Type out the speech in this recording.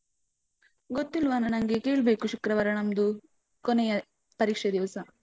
ಗೊತ್ತಿಲ್ವನ. ನಂಗೆ ಕೇಳ್ಬೇಕು ಶುಕ್ರವಾರ ನಮ್ದು ಕೊನೆಯ ಪರೀಕ್ಷೆ ದಿವಸ.